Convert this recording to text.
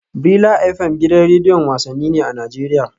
Brila FM gidan rediyon wasanni ne a Najeriya